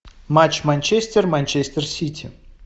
матч манчестер манчестер сити